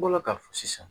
N bɔra k'a fɔ sisan